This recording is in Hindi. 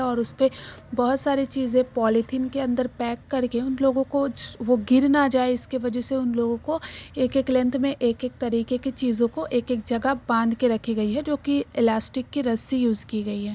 और उसपे बहोत सारी चीजें पॉलिथीन के अंदर पैक करके उन लोगों को वो गिर ना जाए इसके वजह से उन लोगों को एक एक लेंथ में एक एक तरीके की चीजों को एक एक जगह बांध के रखी गई है जो कि इलास्टिक की रस्सी यूज़ की गई है।